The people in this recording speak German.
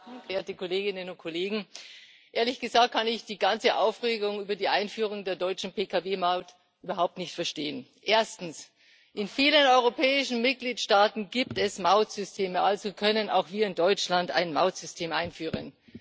Frau Präsidentin, Frau Kommissarin, verehrte Kolleginnen und Kollegen! Ehrlich gesagt kann ich die ganze Aufregung über die Einführung der deutschen Pkw Maut überhaupt nicht verstehen. Erstens In vielen europäischen Mitgliedstaaten gibt es Mautsysteme, also können auch wir in Deutschland ein Mautsystem einführen.